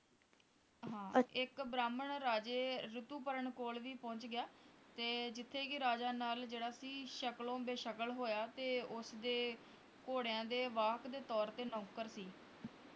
ਇਕ ਬ੍ਰਾਹਮਣ ਰਾਜੇ ਰਿਤੁਪਰਣ ਕੋਲ ਵੀ ਪਹੁੰਚ ਗਿਆ ਤੇ ਜਿੱਥੇ ਕੇ ਰਾਜਾ ਨਲ ਜਿਹੜਾ ਸੀ ਸ਼ਕਲੋਂ ਬੇਸ਼ਕਲ ਹੋਇਆ ਤੇ ਉਸਦੇ ਘੋੜਿਆਂ ਦੇ ਵਾਕ ਦੇ ਤੌਰ ਤੇ ਨੌਕਰ ਸੀ